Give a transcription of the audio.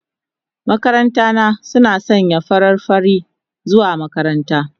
Makaranta na suna sanye da farar fari zuwa makaranta.